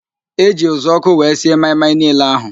Eji uzuọkụ wee sie maị-maị niile ahụ